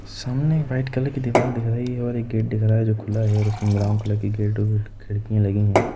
सामने white colour की दीवार दिख रही है और एक गेट दिख रहा है जो खुला है और उसमें ब्राउन कलर गेट और खिड़कियाँ लगी हैं।